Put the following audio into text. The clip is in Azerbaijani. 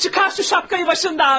Çıqar şu şapkayı başından!